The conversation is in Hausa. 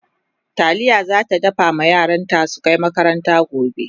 taliya zata dafa ma yaranta su Kai makaranta gobe